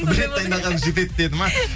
бір рет дайындағаның жетеді деді ма